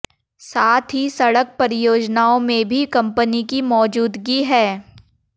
साथ ही सड़क परियोजनाओं में भी कंपनी की मौजूदगी है